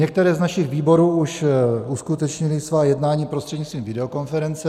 Některé z našich výborů už uskutečnily svá jednání prostřednictvím videokonference.